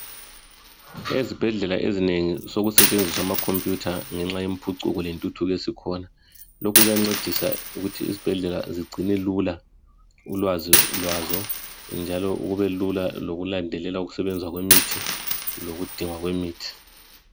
Ezibhedlela ezinengi sokusetshenziswa amakhomphuyutha ngenxa yempucuko lentuthuko esikhona . Lokhu kuyancedisa ukuthi izibhedlela zigcine lula ulwazi lwazo. Njalo kubelula lokulandelela ukusebenza kwemithi lokugcinwa kwemithi.